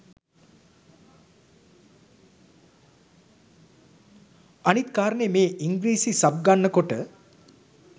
අනිත් කාරණේ මේ ඉංග්‍රිසි සබ් ගන්න කොට